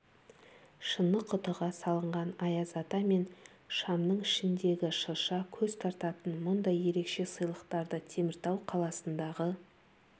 шыны құтыға салынған аяз ата мен шамның ішіндегі шырша көз тартатын мұндай ерекше сыйлықтарды теміртау қаласындағы